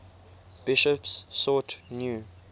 bishops sought new